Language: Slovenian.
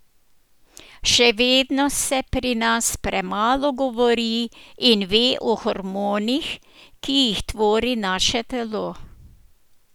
Še vedno se pri nas premalo govori in ve o hormonih, ki jih tvori naše telo.